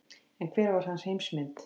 En hver var hans heimsmynd?